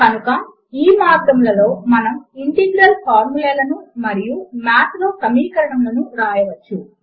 కనుక ఈ మార్గములలో మనము ఇంటిగ్రల్ ఫార్ములే లను మరియు మాథ్ లో సమీకరణములను వ్రాయవచ్చు